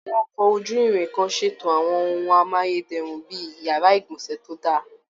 Àwọn ọkọ̀ ojú-irin kan ṣètò àwọn ohun amáyé dẹrùn bí i yàrá ìgbọ̀nsẹ̀ tó dá a